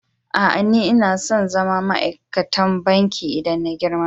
Aa, n'na tson zama ma'aikatan banki idan na yi girma.